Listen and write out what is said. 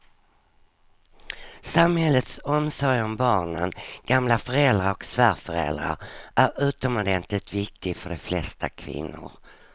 Samhällets omsorg om barnen, gamla föräldrar och svärföräldrar är utomordentligt viktig för de flesta kvinnor.